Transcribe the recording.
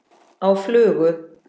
Á flugu?